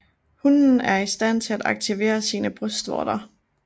Hunnen er i stand til at aktivere sine brystvorter